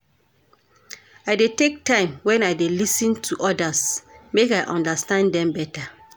I dey take time wen I dey lis ten to odas, make I understand dem better